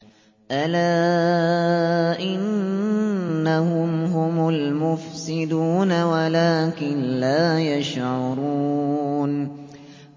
أَلَا إِنَّهُمْ هُمُ الْمُفْسِدُونَ وَلَٰكِن لَّا يَشْعُرُونَ